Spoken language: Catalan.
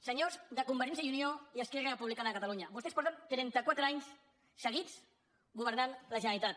senyors de convergència i unió i esquerra republicana de catalunya vostès fa trentaquatre anys seguits que governen la generalitat